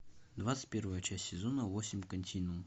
двадцать первая часть сезона восемь континуум